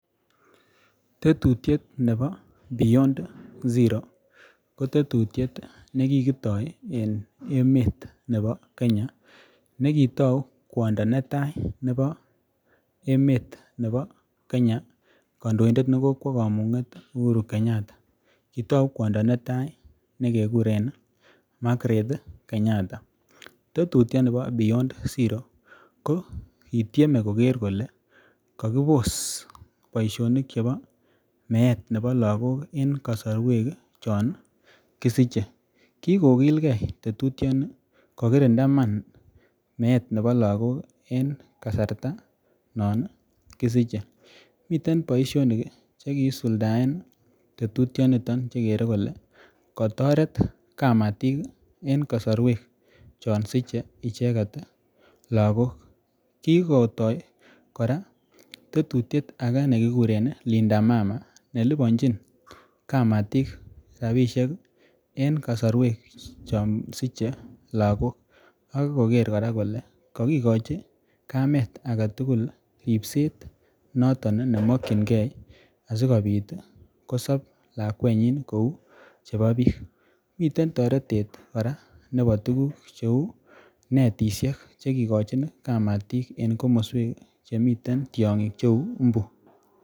Tetutyet nebo beyond zero ko tetutyet nekikitoi en emet nebo Kenya nekitou kwondo netai nebo emet nebo Kenya kandoindet nekokwo kamung'et Uhuru Kenyatta kotou kwondo netai nekekuren Margaret Kenyatta tetutyoni bo beyond zero ko kityeme koker kole kakibos boishonik chebo meet nebo lakok en kasarwek chon kisiche kikokilgei tetutyoni kokirinda iman meet nebo lakok en kasarta non kisichei meten boishonik chekiisuldaen tetutioniton chekerei kole katoret kamatik eng' kasarwek chon sichei icheget lakok kikotoi kora tetutyet age nekikuren Linda mama nelibanjin kamatik rabishek en kasorwek cho sichei lakok ak koker kora kole kakikochi kamet age tugul ripset noton nemokchingei asikobit kosop lakwenyi kou chebo biik miten toretet kora nebo tukuk cheu netishek chekikochon kamatik eng' komoswek chemiten tiyong'ik cheu mbu